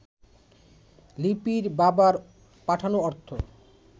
লিপির বাবার পাঠানো অর্থ